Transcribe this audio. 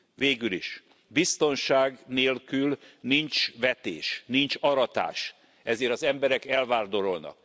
Végülis biztonság nélkül nincs vetés, nincs aratás, ezért az emberek elvándorolnak.